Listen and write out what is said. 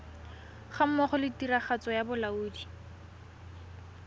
gammogo le tiragatso ya bolaodi